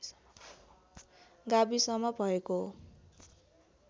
गाविसमा भएको हो